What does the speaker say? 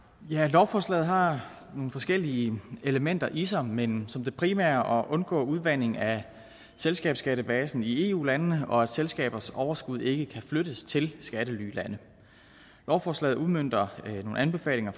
lovforslaget har nogle forskellige elementer i sig men har som det primære at undgå udvanding af selskabsskattebasen i eu landene og at selskabers overskud ikke kan flyttes til skattelylande lovforslaget udmønter nogle anbefalinger